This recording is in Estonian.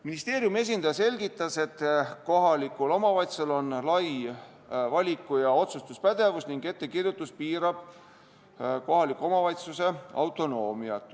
Ministeeriumi esindaja selgitas, et kohalikul omavalitsusel on lai valiku- ja otsustuspädevus ning ettekirjutus piirab kohaliku omavalitsuse autonoomiat.